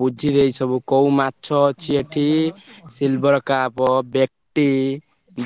ବୁଝିଦେଇଛି ସବୁ କୋଉ ମାଛ ଅଛି ଏଠି silver